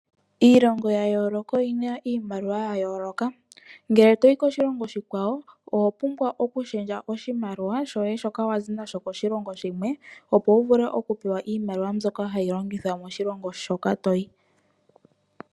Iilongo yayoloka oyina iimaliwa yayoloka , ngele toyi koshilongo oshikwawo owapumbwa oku pingakanitha oshimaliwa shoye shoka wazi nasho koshilongo shimwe opo wuvule okupewa iimaliwa mbyoka hayi longithwa moshilongo shoka toyi.